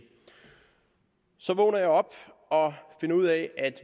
så vågner jeg op og finder ud af at